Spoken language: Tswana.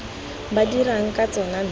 ba dirang ka tsona mme